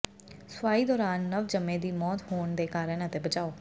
ਸੂਆਈ ਦੌਰਾਨ ਨਵਜੰਮੇ ਦੀ ਮੌਤ ਹੋਣ ਦੇ ਕਾਰਨ ਅਤੇ ਬਚਾਓ